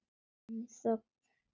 Við erum í þögn.